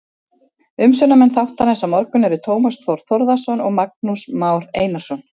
Umsjónarmenn þáttarins á morgun eru Tómas Þór Þórðarson og Magnús Már Einarsson.